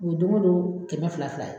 O ye don o don kɛmɛ fila fila ye.